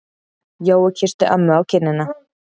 Jói kyssti ömmu á kinnina.